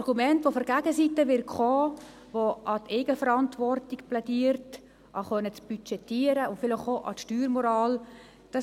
Das Argument, das von der Gegenseite kommen wird, die für die Eigenverantwortung plädiert, lautet, dass man selbst budgetieren will, und vielleicht wird auch an die Steuermoral appelliert.